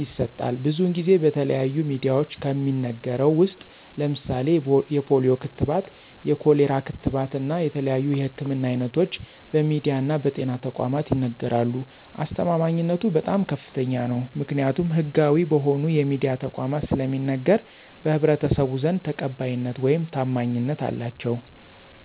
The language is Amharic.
ይሰጣል። ብዙን ጊዜ በተለያዩ ሚድያዎች ከሚነገረው ውስጥ ለምሳሌ የፖሊዮ ክትባት፣ የኮሌራ ክትባት እና የተለያዩ የህክምና አይነቶች በሚድያ እና በጤና ተቋማት ይነገራሉ። አስተማማኝነቱ በጣም ከፍተኛ ነው። ምክኒያቱም ህጋዊ በሆኑ የሚድያ ተቋማት ስለሚነገር በህብረተሰቡ ዘንድ ተቀባይነት ውይም ታማኝነት አላቸው።